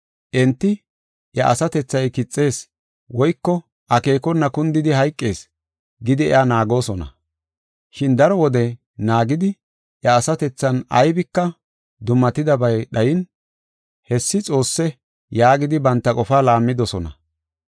Enti, “Iya asatethay kixees, woyko akeekona kundidi hayqees” gidi iya naagoosona. Shin daro wode naagidi iya asatethan aybika dummatidabay dhayin, “Hessi xoosse” yaagidi banta qofaa laammidosona.